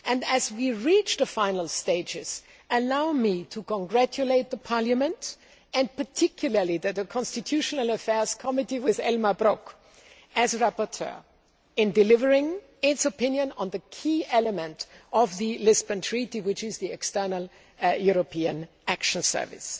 As we reach the final stages, allow me to congratulate Parliament, and particularly the Constitutional Affairs Committee, with Elmar Brok as rapporteur, on delivering its opinion on the key element of the Lisbon Treaty which is the External European Action Service.